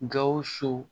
Gawusu